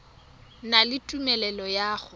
na le tumelelo ya go